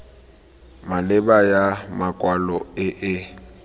maleba ya makwalo e e